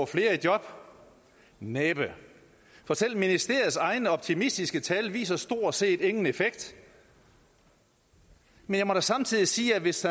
flere i job næppe for selv ministeriets egne optimistiske tal viser stort set ingen effekt men jeg må da samtidig sige at hvis